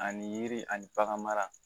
Ani yiri ani bagan mara